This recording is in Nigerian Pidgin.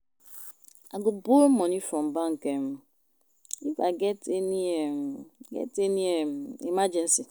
I go borrow money from bank um if I get any um get any um emergency